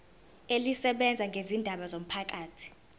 elisebenza ngezindaba zomphakathi